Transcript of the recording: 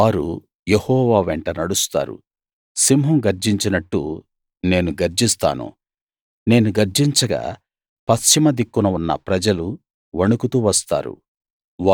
వారు యెహోవా వెంట నడుస్తారు సింహం గర్జించినట్టు నేను గర్జిస్తాను నేను గర్జించగా పశ్చిమ దిక్కున ఉన్న ప్రజలు వణకుతూ వస్తారు